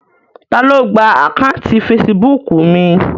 Ta ló gba àkáùntì fesibúùkù mi?